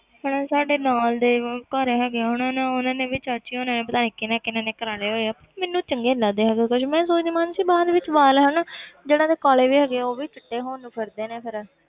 ਹਨਾ ਸਾਡੇ ਨਾਲ ਦੇ ਘਰ ਹੈਗੇ ਆ ਉਹਨਾਂ ਨੇ ਉਹਨਾਂ ਨੇ ਵੀ ਚਾਚੀ ਹੋਣਾ ਨੇ ਪਤਾ ਨੀ ਕਿਹਨਾਂ ਕਿਹਨਾਂ ਨੇ ਕਰਵਾ ਲਏ ਹੋਏ ਆ ਮੈਨੂੰ ਚੰਗੇ ਨੀ ਲੱਗਦੇ ਹੈਗੇ ਕਿਉਂਕਿ ਮੈਂ ਸੋਚਦੀ ਮਾਨਸੀ ਬਾਅਦ ਵਿੱਚ ਵਾਲ ਹਨਾ ਜਿੰਨਾਂ ਦੇ ਕਾਲੇ ਵੀ ਹੈਗੇ ਹੈ ਉਹ ਵੀ ਚਿੱਟੇ ਹੋਣ ਨੂੰ ਫਿਰਦੇ ਨੇ ਫਿਰ।